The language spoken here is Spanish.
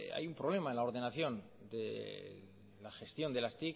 hay un problema en la ordenación de la gestión de las